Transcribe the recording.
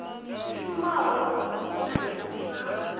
shumaho na i si na